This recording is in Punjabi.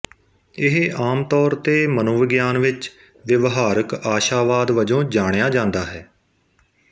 ਇਹ ਆਮ ਤੌਰ ਤੇ ਮਨੋਵਿਗਿਆਨ ਵਿੱਚ ਵਿਵਹਾਰਕ ਆਸ਼ਾਵਾਦ ਵਜੋਂ ਜਾਣਿਆ ਜਾਂਦਾ ਹੈ